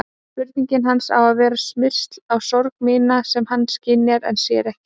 Spurning hans á að vera smyrsl á sorg mína sem hann skynjar en sér ekki.